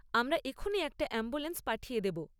আমরা এক্ষুনি একটা অ্যাম্বুলেন্স পাঠিয়ে দেব।